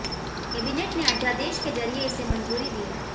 cabinet ने अध्यादेश के जरिए इसे मंजूरी दी है